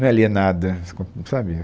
Não é alienada, sabe?